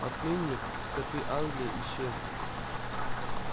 отныне скоты англии исчезли